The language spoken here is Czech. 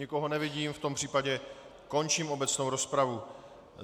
Nikoho nevidím, v tom případě končím obecnou rozpravu.